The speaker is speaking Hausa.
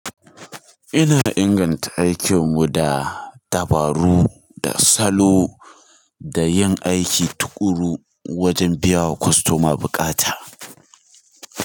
Ina inganta aikinmu da dabaru da salo da yin aiki tuƙuru wajen biyawa kostoma bukata.